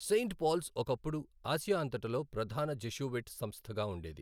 Saint Paul's ఒకప్పుడు Asia అంతటలో ప్రధాన జెషూవిట్ సంస్థగా ఉండేది.